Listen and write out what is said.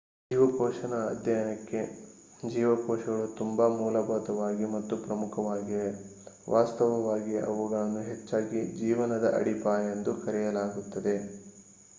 ಜೀವಕೋಶದ ಅಧ್ಯಯನಕ್ಕೆ ಜೀವಕೋಶಗಳು ತುಂಬಾ ಮೂಲಭೂತ ಮತ್ತು ಪ್ರಮುಖವಾಗಿವೆ ವಾಸ್ತವವಾಗಿ ಅವುಗಳನ್ನು ಹೆಚ್ಚಾಗಿ ಜೀವನದ ಅಡಿಪಾಯ ಎಂದು ಕರೆಯಲಾಗುತ್ತದೆ